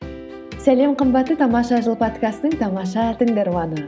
сәлем қымбатты тамаша жыл подкастының тамаша тыңдарманы